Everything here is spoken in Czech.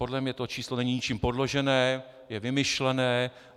Podle mě to číslo není ničím podložené, je vymyšlené.